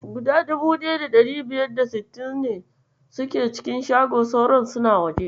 Guda 1560 suna cikin shago, sauran suna waje.